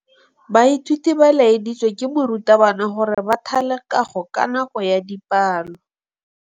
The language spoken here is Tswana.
Baithuti ba laeditswe ke morutabana gore ba thale kagô ka nako ya dipalô.